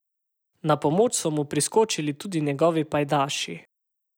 Na pomoč so mu priskočili tudi njegovi pajdaši.